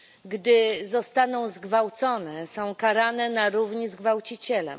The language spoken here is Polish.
Gdy zostaną zgwałcone, są karane na równi z gwałcicielem.